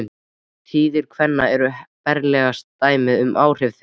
Tíðir kvenna eru berlegasta dæmið um áhrif þeirra.